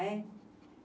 é?